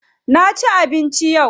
Na ci abinci yau.